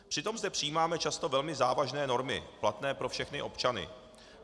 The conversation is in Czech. Přitom zde přijímáme často velmi závažné normy platné pro všechny občany.